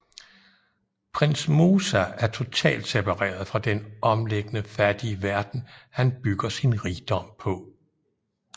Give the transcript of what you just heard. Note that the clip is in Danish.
Prins Moosa er totalt separeret fra den omliggende fattige verden han bygger sin rigdom på